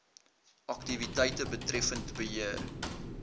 aktiwiteite betreffend beheer